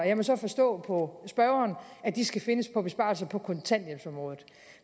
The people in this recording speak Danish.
jeg må så forstå på spørgeren at de skal findes på besparelser på kontanthjælpsområdet